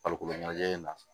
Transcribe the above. Farikolo ɲɛnajɛ in na